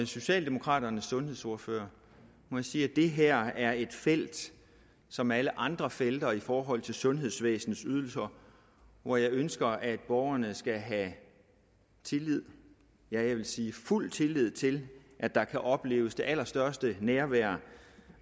socialdemokraternes sundhedsordfører må jeg sige at det her er et felt som alle andre felter i forhold til sundhedsvæsenets ydelser hvor jeg ønsker at borgerne skal kunne have tillid ja jeg vil sige fuld tillid til at der kan opleves det allerstørste nærvær